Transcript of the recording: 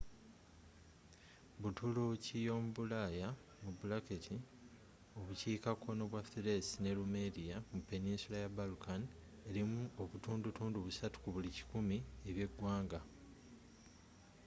buturuuki yomubulaayaobukiika kkono bwa thrace ne rumelia mu peninsula ya balkan erimu 3% ebyeggwanga